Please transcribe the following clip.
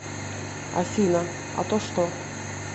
афина а то что